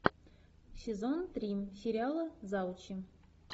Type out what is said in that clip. сезон три сериала заучи